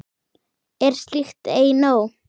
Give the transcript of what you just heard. Er slíkt ei nóg?